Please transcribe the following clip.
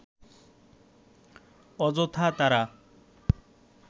অযথা তারা